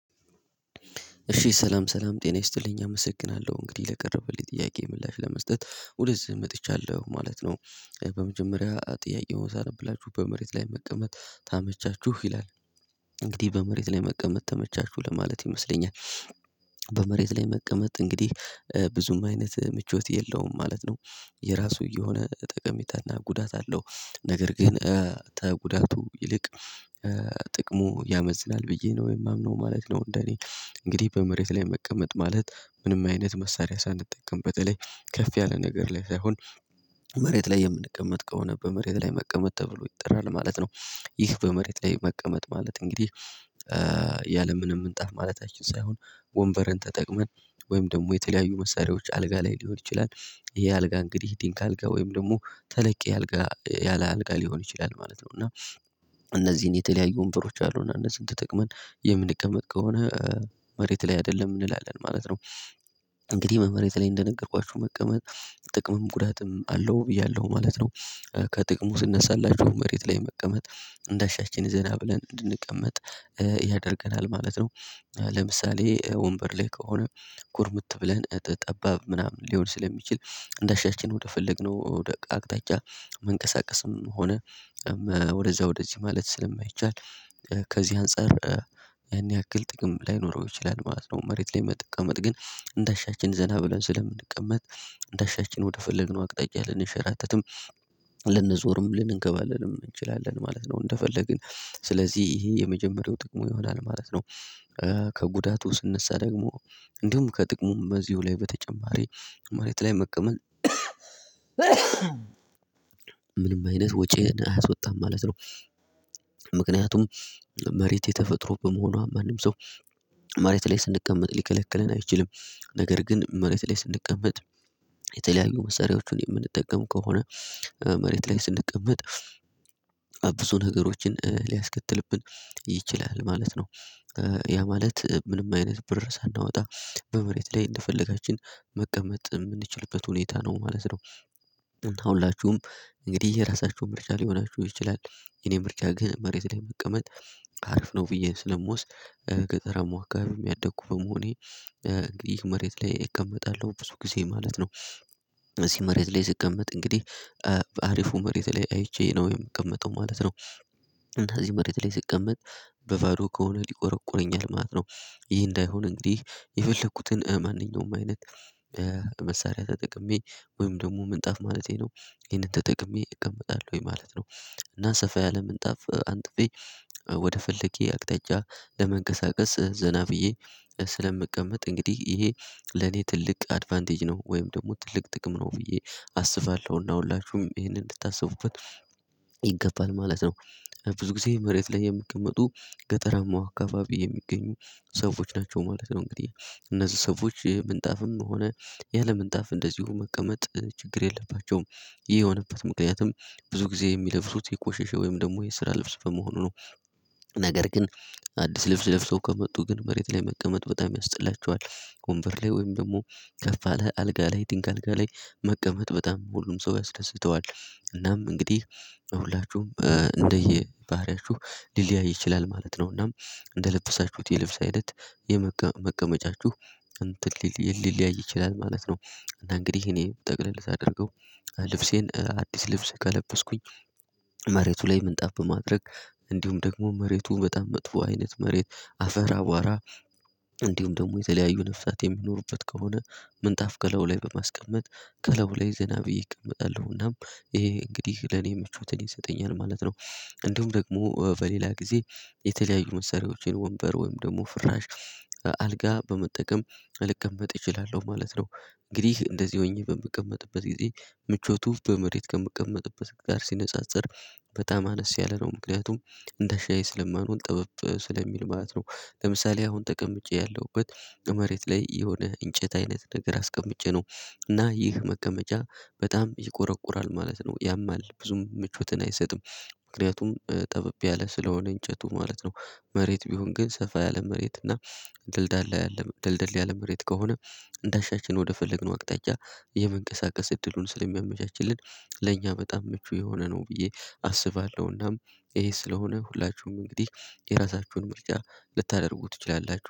እሺ ሰላም ሰላም ጤና ይስጥልኝ አመሰግናለሁ። እንግዲህ ለቀረበልኝ ጥያቄ ምላሽ ለመስጠት ወደዚህ መጥቻለሁ ማለት ነው። በመጀመሪያ ጥያቄውን ሳነብላችሁ በመሬት ላይ መቀመጥ ተመቻችሁ ይላል እንግዲህ በመሬት ላይ መቀመጥ ተመቻችሁ ለማለት ይመስለኛል። በመሬት ላይ መቀመጥ እንግዲህ ብዙም አይነት ምቾት የለውም ማለት ነው። የራሱ የሆነ ጠቀሜታና ጉዳት አለው ነገር ግን ከጉዳቱ ይልቅ ጥቅሙ ያመዝናል ብዬ ነው የማምነው ማለት ነው። እንደኔ እንግዲህ በመሬት ላይ መቀመጥ ማለት ምንም አይነት መሳሪያ ሳንጠቀም በተለይ ከፍ ያለ ነገር ላይ ሳይሆን መሬት ላይ የምንቀመጥ ከሆነ በመሬት ላይ መቀመጥ ተብሎ ይጠራል ማለት ነው። ይህ በመሬት ላይ መቀመጥ ማለት እንግዲህ ያለምንም ምንጣፍ ማለታችን ሳይሆን ወንበርን ተጠቅመን ወይም ደግሞ የተለያዩ መሳሪያዎች አልጋ ላይ ሊሆን ይችላል ይሄ አልጋ እንግዲህ ዲንክ አልጋ ወይም ደግሞ ተለቅ አልጋ ያለ አልጋ ሊሆን ይችላል ማለት ነው። እና እነዚህን የተለያዩ ወንበሮች አሉና እነዚህን ተጠቅመን የምንቀመጥ ከሆነ መሬት ላይ አይደለም እንላለን ማለት ነው። እንግዲህ በመሬት ላይ እንደነገርኳችሁ መቀመጥ ጥቅምም ጉዳትም አለው ብያለሁ ማለት ነው። ከጥቅሙ ስነሳላችሁ መሬት ላይ መቀመጥ እንዳሻችን ዜና ብለን እንድንቀመጥ ያደርገናል ማለት ነው። ለምሳሌ ወንበር ላይ ከሆነ ኩርምት ብለን ጠባብ ምናምን ሊሆን ስለሚችል እንደሻችን ወደፈለግነው አቅጣጫ መንቀሳቀስም ሆነ ወደዛ ወደዚህ ማለት ስለማይቻል ከዚህ አንፃር ያን ያክል ጥቅም ላይኖረው ይችላል ማለት ነው። መሬት ላይ መቀመጥ ግን እንደ አሻችን ዘና ብለን ስለምንቀመጥ እንደ አሻችን ወደ ፈለግነው አቅጣጫ ልንሸራተትም ልንዞርም ልንከባለልም እንችላለን ማለት ነው እንደፈለግን ስለዚህ ይሄ የመጀመሪያው ጥቅሙ ይሆናል ማለት ነው። ከጉዳቱ ስነሳ ደግሞ እንዲሁም ከጥቅሙም በዚሁ ላይ በተጨማሪ ማመሬት ላይ መቀመጥ ምንም አይነት ወጭን አያስወጣም ማለት ነው። ምክንያቱም መሬት የተፈጥሮ በመሆኗ ማንም ሰው መሬት ላይ ስንቀመጥ ሊከለክለን አይችልም። ነገር ግን መሬት ላይ ስንቀመጥ የተለያዩ መሳሪያዎችን የምንጠቀም ከሆነ መሬት ላይ ስንቀመጥ ብዙ ነገሮችን ሊያስከትልብን ይችላል ማለት ነው። ያ ማለት ምንም አይነት ብር ሳናወጣ በመሬት ላይ እንደፈለጋችን መቀመጥ የምንችልበት ሁኔታ ነው ማለት ነው። ሁላችሁም እንግዲህ የራሳችሁ ምርጫ ሊሆናችሁ ይችላል የኔ ምርጫ ግን መሬት ላይ መቀመጥ አሪፍ ነው ብዬ ስለምወስድ ገጠረም አካባቢ ያደኩ በመሆኔ ይህ መሬት ላይ እቀመጣለሁ ብዙ ጊዜ ማለት ነው። እዚህ መሬት ላይ ስቀመጥ እንግዲህ በአሪፉ መሬት ላይ አይቼ ነው የምቀመጠው ማለት ነው። እና እዚህ መሬት ላይ ስቀመጥ በባዶ ከሆነ ሊቆረቁረኝ ማለት ነው። ይህ እንዳይሆን እንግዲህ የፈለኩትን ማንኛውም አይነት መሳሪያ ተጠቅሜ ወይም ደግሞ ምንጣፍ ማለቴ ነው ይሄንን ተጠቅሜ እቀመጣለሁ ወይ ማለት ነው። እና ሰፋ ያለ ምንጣፍ አንጥቤ ወደ ፈልኩት አቅጣጫ ለመንቀሳቀስ ዘና ብዬ ስለምቀመጥ እንግዲህ ይሄ ለኔ ትልቅ አድቫንቴጅ ነው ወይም ደግሞ ትልቅ ጥቅም ነው ብዬ አስባለሁ እና ሁላቹህም ይሄንን እንድታስቡበት ይገባል ማለት ነው። ብዙ ጊዜ መሬት ላይ የሚቀመጡ ገጠራማው አካባቢ የሚገኙ ሰዎች ናቸው ማለት ነው። እንግዲህ እነዚህ ሰዎች ምንጣፍም ሆነ ያለምንጣፍ እንደዚሁ መቀመጥ ችግር የለባቸውም ይህ የሆነበት ምክንያትም ብዙ ጊዜ የሚለብሱት የቆሸሸ ወይም ደግሞ የስራ ልብስ በመሆኑ ነው። ነገር ግን አዲስ ልብስ ልብሰው ከመጡ ግን መሬት ላይ መቀመጥ በጣም ያስጠላቸዋል ወንበር ላይ ወይም ደግሞ ከፋ ያለ አልጋ ላይ ጥንቅ አልጋ ላይ መቀመጥ በጣም ሁሉም ሰው ያስደስተዋል። እናም እንግዲህ ሁላችሁም እንደየ ባህሪያችሁ ሊለያይ ይችላል ማለት ነው። እና እንደለበሳችሁት የልብስ አይነት የመቀመጫችሁ እንትን ሊለያይ ይችላል ማለት ነው። እና እንግዲህ እኔ ጠቅለል ሳደርገው ልብሴን አዲስ ልብስ ከለበስኩኝ መሬቱ ላይ ምንጣፍ በማድረግ እንዲሁም ደግሞ መሬቱ በጣም መጥፎ አይነት መሬት አፈር አቧራ እንዲሁም ደግሞ የተለያዩ ነፍሳት የሚኖሩበት ከሆነ ምንጣፍ ከላዩ ላይ በማስቀመጥ ከላዩ ላይ ዘና ብዬ እቀመጣለሁና ይሄ እንግዲህ ለኔ ምቾትን ይሰጠኛል ማለት ነው። እንዲሁም ደግሞ በሌላ ጊዜ የተለያዩ መሳሪያዎችን ወንበር ወይም ደግሞ ፍራሽ አልጋ በመጠቀም ልቀመጥ እችላለሁ ማለት ነው። እንግዲህ እንደዚህ ሆኜ በምቀመጥበት ጊዜ ምቾቱ በመሬት ከምቀመጥበት ጋር ሲነጻጸር በጣም አነስ ያለ ነው ምክንያቱም እንዳሻኝ ስለማልሆን ጥበብ ስለሚል ማለት ነው። ለምሳሌ አሁን ተቀምጬ ያለሁበት ከመሬት ላይ የሆነ እንጨት አይነት ነገር አስቀምጬ ነው። እና ይህ መቀመጫ በጣም ይቆረቁራል ማለት ነው ያማል ብዙም ምቾትን አይሰጥም። ምክንያቱም ጠበብ ያለ ስለሆነ እንጨቱ ማለት ነው። መሬት ቢሆን ግን ሰፋ ያለ መሬት እና ድልድል ያለ ድልድል ያለ መሬት ከሆነ እንዳሻችን ወደፈለግነው አቅጣጫ የመንቀሳቀስ እድሉን ስለሚያመቻችልን ለእኛ በጣም ምቹ የሆነ ነው። ብዬ አስባለሁናም ይሄ ስለሆነ ሁላችሁም እንግዲህ የራሳችሁን ምርጫ ልታደርጉ ትችላላችሁ